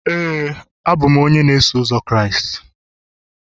Éè, abụ m onye Kraịst